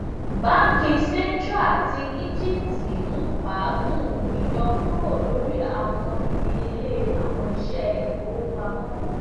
banki central ti egipti n faagun iyọkuro lori awọn idiyele awọn iṣẹ ifowopamọ